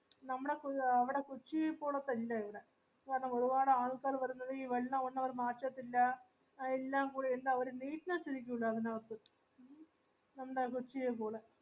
നമ്മളെ ആ അവിടെ കൊച്ചീ പോലെ പോലത്തെയില്ലാവട കാരണം ഒരുപാഡൽകാർവന്നത് ഈ വെള്ളമൊന്നവർ മാറ്റത്തില്ല എല്ലാം കൂടെ ഒരു neatness ഇരികുല അതിനകാത്തു